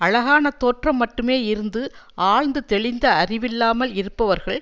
அழகான தோற்றம் மட்டுமே இருந்து ஆழ்ந்து தெளிந்த அறிவில்லாமல் இருப்பவர்கள்